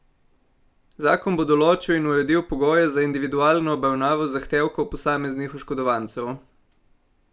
Zakon bo določil in uredil pogoje za individualno obravnavo zahtevkov posameznih oškodovancev.